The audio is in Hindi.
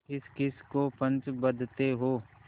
किसकिस को पंच बदते हो